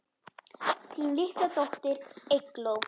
Þín litla dóttir, Eygló.